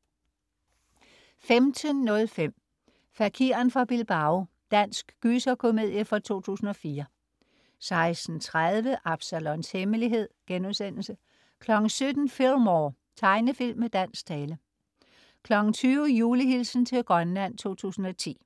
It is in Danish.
15.05 Fakiren fra Bilbao. Dansk gyserkomedie fra 2004 16.30 Absalons Hemmelighed* 17.00 Fillmore. Tegnefilm med dansk tale 20.00 Julehilsen til Grønland 2010.